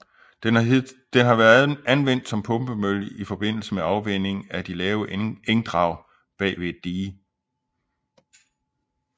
Den har været anvendt som pumpemølle i forbindelse med afvanding af de lave engdrag bag ved et dige